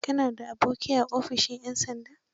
Ka na da aboki a ofishin 'yan sandan?